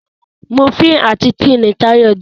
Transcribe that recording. Múfìn àti tea ní Tayo jé.